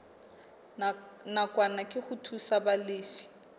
nakwana ke ho thusa balefi